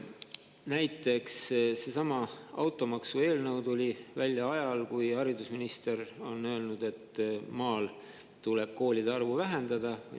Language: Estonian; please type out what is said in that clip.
Näiteks tuli seesama automaksueelnõu välja ajal, kui haridusminister oli öelnud, et maal tuleb koolide arvu vähendada.